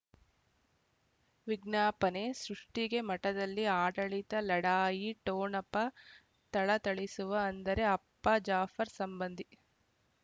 ವಿಜ್ಞಾಪನೆ ಸೃಷ್ಟಿಗೆ ಮಠದಲ್ಲಿ ಆಡಳಿತ ಲಢಾಯಿ ಟೋಣಪ ಥಳಥಳಿಸುವ ಅಂದರೆ ಅಪ್ಪ ಜಾಫರ್ ಸಂಬಂಧಿ